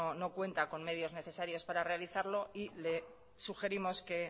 no cuenta con medios necesarios para realizarlo y le sugerimos que